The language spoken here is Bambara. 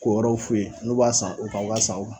K'o yɔɔrw f'u ye n'u b'a san u ka wari san o kan